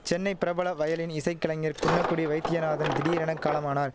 சென்னை பிரபல வயலின் இசைக்கலைஞர் குன்னக்குடி வைத்தியநாதன் திடீரென காலமானார்